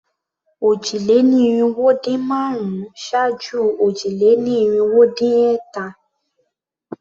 Òjì-lé-ní-irinwó-dín-márùn-ún ṣáájú òjì-lé-ní-irinwó-dín-ẹ̀ta.